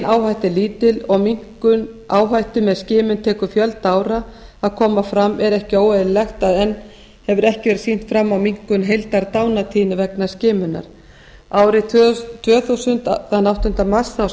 er lítil og minnkun áhættu með skilur tekur fjölda ára að koma fram er ekki óeðlilegt að enn hefur ekki verið sýnt fram á minnkun heildardánartíðni vegna skimunar árið tvö þúsund þann áttunda mars